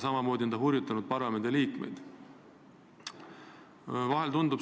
Samamoodi on ta hurjutanud parlamendiliikmeid.